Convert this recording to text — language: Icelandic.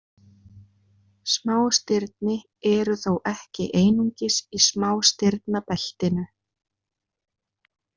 Smástirni eru þó ekki einungis í smástirnabeltinu.